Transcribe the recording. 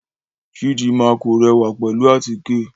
Chidinma kò rẹwa pẹlu àtíke